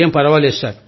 ఏం ఫర్వాలేదు